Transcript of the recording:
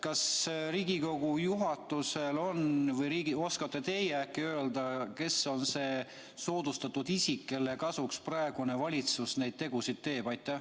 Kas Riigikogu juhatusele on see teada või oskate teie äkki öelda, kes on see soodustatud isik, kelle kasuks praegune valitsus neid tegusid teeb?